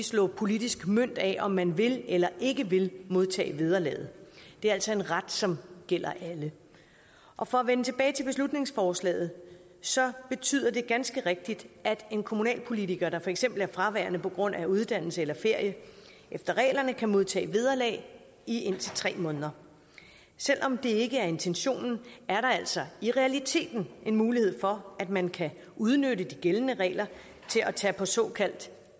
slå politisk mønt af om man vil eller ikke vil modtage vederlaget det er altså en ret som gælder alle og for at vende tilbage til beslutningsforslaget så betyder det ganske rigtigt at en kommunalpolitiker der for eksempel er fraværende på grund af uddannelse eller ferie efter reglerne kan modtage vederlag i indtil tre måneder selv om det ikke er intentionen er der altså i realiteten en mulighed for at man kan udnytte de gældende regler til at tage på såkaldt